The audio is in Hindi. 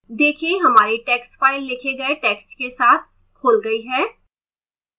देखें हमारी text file लिखे गए text के साथ खुल गई है